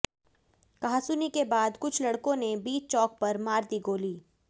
कहासुनी के बाद कुछ लड़कों ने बीच चौक पर मार दी गोली